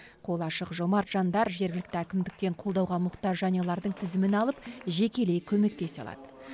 қолы ашық жомарт жандар жергілікті әкімдіктен қолдауға мұқтаж жанұялардың тізімін алып жекелей көмектесе алады